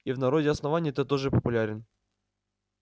и в народе основания ты тоже популярен